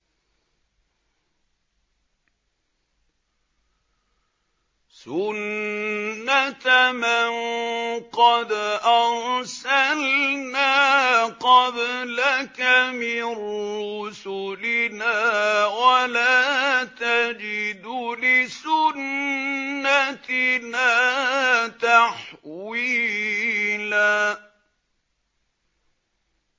سُنَّةَ مَن قَدْ أَرْسَلْنَا قَبْلَكَ مِن رُّسُلِنَا ۖ وَلَا تَجِدُ لِسُنَّتِنَا تَحْوِيلًا